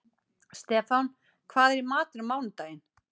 Stefán, hvað er í matinn á mánudaginn?